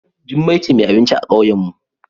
Jummai ce mai abinci a kauyenmu.